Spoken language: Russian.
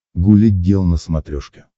гуля гел на смотрешке